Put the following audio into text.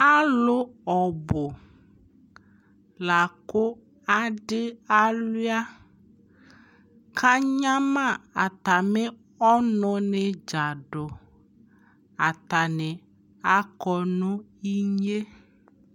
alʋ ɔbʋ lakʋ adi awlia ka anyama atami ɔnʋ ni dza dʋ, atani akɔnʋ inyɛ